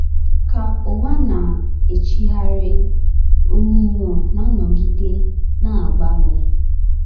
Ka ụwa na - echigharị, onyinyo na - anọgide na - agbanwe.